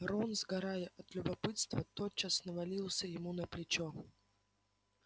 рон сгорая от любопытства тотчас навалился ему на плечо